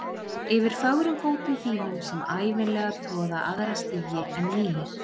Yfir fögrum fótum þínum sem ævinlega troða aðra stígi en mínir.